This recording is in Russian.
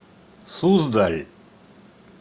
суздаль